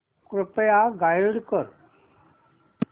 कृपया गाईड कर